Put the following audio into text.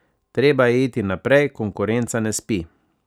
Treba je iti naprej, konkurenca ne spi.